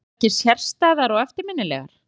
Voru þær ekki sérstæðar og eftirminnilegar?